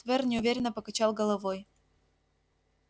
твер неуверенно покачал головой